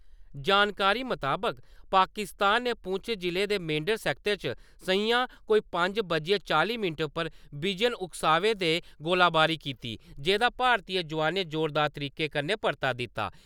जानकारी मताबक पाकिस्तान ने पुंछ जिले दे मेंढर सैक्टर च सं`ञा कोई पंज बजियै चाली मिन्टें पर विजन उकसावे दे गोलीबारी कीती, जेह्दा भारती जोआनें जोरदार तरीके कन्नै परता दिता।